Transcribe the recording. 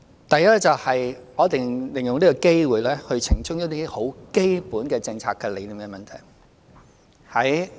第一，我想利用這個機會澄清一些很基本的政策理念問題。